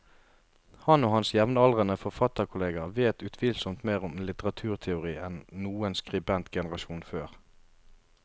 Han og hans jevnaldrende forfatterkolleger vet utvilsomt mer om litteraturteori enn noen skribentgenerasjon før.